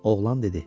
Oğlan dedi.